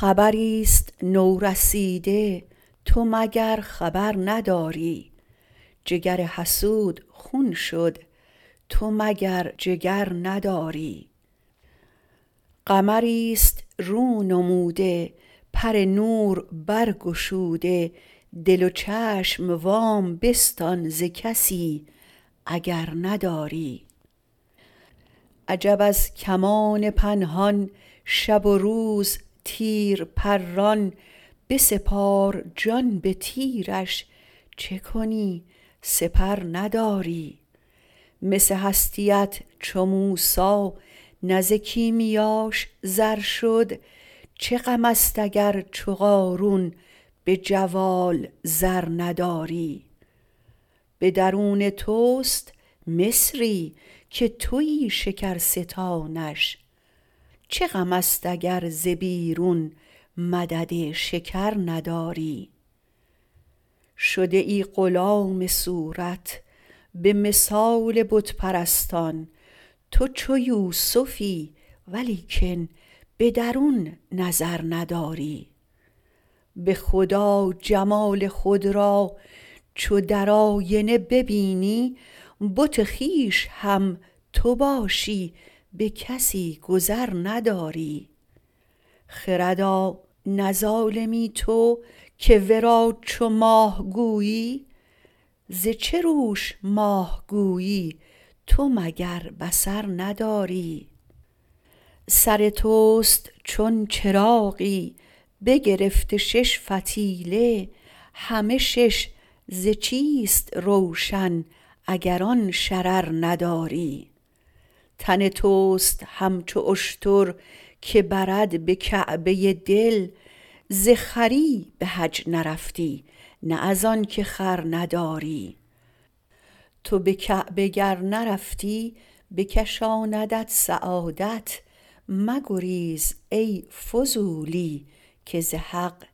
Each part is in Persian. خبری است نورسیده تو مگر خبر نداری جگر حسود خون شد تو مگر جگر نداری قمری است رونموده پر نور برگشوده دل و چشم وام بستان ز کسی اگر نداری عجب از کمان پنهان شب و روز تیر پران بسپار جان به تیرش چه کنی سپر نداری مس هستیت چو موسی نه ز کیمیاش زر شد چه غم است اگر چو قارون به جوال زر نداری به درون توست مصری که توی شکرستانش چه غم است اگر ز بیرون مدد شکر نداری شده ای غلام صورت به مثال بت پرستان تو چو یوسفی ولیکن به درون نظر نداری به خدا جمال خود را چو در آینه ببینی بت خویش هم تو باشی به کسی گذر نداری خردا نه ظالمی تو که ورا چو ماه گویی ز چه روش ماه گویی تو مگر بصر نداری سر توست چون چراغی بگرفته شش فتیله همه شش ز چیست روشن اگر آن شرر نداری تن توست همچو اشتر که برد به کعبه دل ز خری به حج نرفتی نه از آنک خر نداری تو به کعبه گر نرفتی بکشاندت سعادت مگریز ای فضولی که ز حق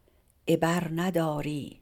عبر نداری